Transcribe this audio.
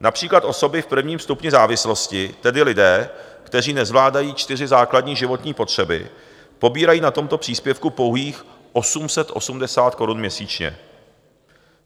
Například osoby v prvním stupni závislosti, tedy lidé, kteří nezvládají čtyři základní životní potřeby, pobírají na tomto příspěvku pouhých 880 korun měsíčně.